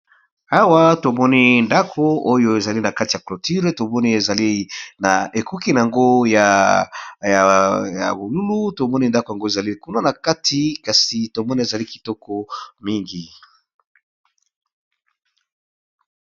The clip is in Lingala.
Awa tomoni ndako oyo ezali na kati ya cloture tomoni ezali na ekoki na yango ya bolulu tomoni ndako yango ezali kuna na kati kasi tomoni ezali kitoko mingi